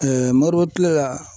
MOROBO kile la.